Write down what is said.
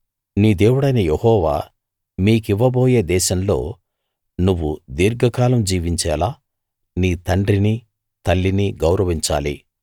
నీ దేవుడైన యెహోవా మీకివ్వబోయే దేశంలో నువ్వు దీర్ఘకాలం జీవించేలా నీ తండ్రిని తల్లిని గౌరవించాలి